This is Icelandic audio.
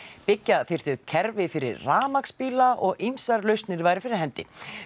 byggja þyrfi upp kerfi fyrir rafmagnsbíla og ýmsar væru fyrir hendi